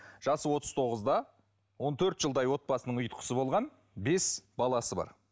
жасы отыз тоғызда он төрт жылдай отбасының ұйытқысы болған бес баласы бар